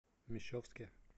мещовске